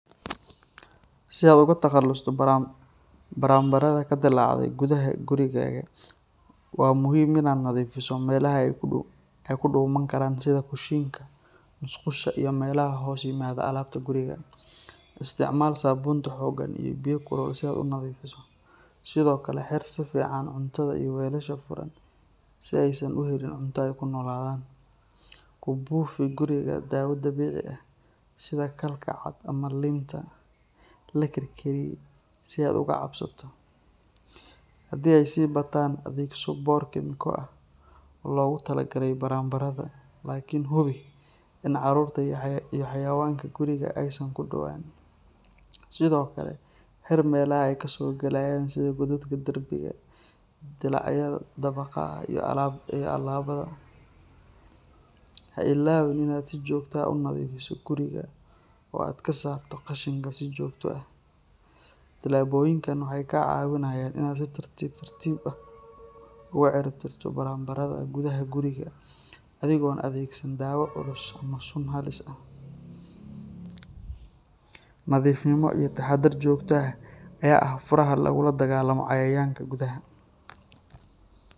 Si aad uga takhalusto baranbarada ka dilaacday gudaha gurigaaga, waa muhiim in aad nadiifiso meelaha ay ku dhuuman karaan sida kushiinka, musqusha, iyo meelaha hoos yimaada alaabta guriga. Isticmaal saabuunta xooggan iyo biyo kulul si aad u nadiifiso. Sidoo kale, xir si fiican cuntada iyo weelasha furan si aysan u helin cunto ay ku noolaadaan. Ku buufi guriga daawo dabiici ah sida khalka cad ama liinta la karkariyey si aad uga cabsato. Haddii ay sii bataan, adeegso boor kiimiko ah oo loogu talagalay baranbarada, laakiin hubi in carruurta iyo xayawaanka guriga aysan ku dhowaan. Sidoo kale, xir meelaha ay ka soo galayaan sida godadka derbiga, dillaacyada daaqadaha iyo albaabbada. Ha ilaawin in aad si joogto ah u nadiifiso guriga oo aad ka saarto qashinka si joogto ah. Tallaabooyinkan waxay kaa caawinayaan in aad si tartiib tartiib ah uga ciribtirto baranbarada gudaha gurigaaga adigoon adeegsan dawo culus ama sun halis ah. Nadiifnimo iyo taxaddar joogto ah ayaa ah furaha lagula dagaallamo cayayaanka gudaha.